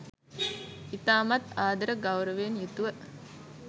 ඉතාමත් ආදර ගෞරවයෙන් යුතුව